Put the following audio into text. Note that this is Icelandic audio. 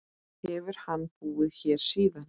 Hefur hann búið hér síðan.